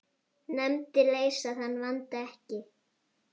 Nefndir leysa þann vanda ekki.